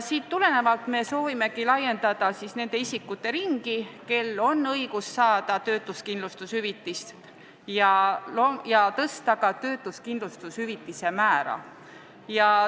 Sellest tulenevalt soovime laiendada nende isikute ringi, kellel on õigus saada töötuskindlustushüvitist, samuti soovime tõsta töötuskindlustushüvitise määra.